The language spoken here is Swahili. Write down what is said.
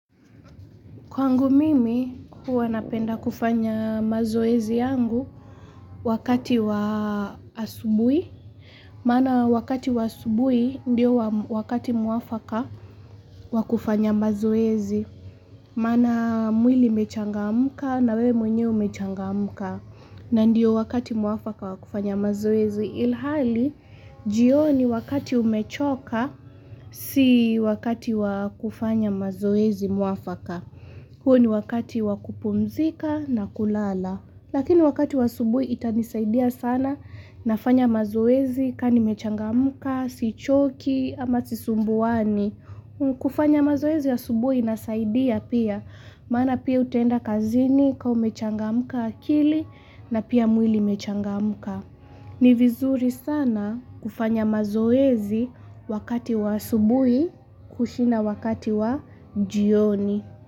Kwangu mimi huwa napenda kufanya mazoezi yangu wakati wa asubuhi. Maana wakati wa asubuhi ndio wakati mwafaka wakufanya mazoezi. Maana mwili imechangamka na we mwenyewe umechangamka. Na ndio wakati mwafaka wakufanya mazoezi. Ilhali, jioni wakati umechoka si wakati wakufanya mazoezi mwafaka. Huo ni wakati wakupumzika na kulala. Lakini wakati wa asubuhi itanisaidia sana nafanya mazoezi kaanimechangamuka, si choki ama sisumbuani. Kufanya mazoezi asubuhi inasaidia pia. Maana pia utaenda kazini kama umechangamka akili na pia mwili imechangamka. Ni vizuri sana kufanya mazoezi wakati wa asubuhi kushinda wakati wa jioni.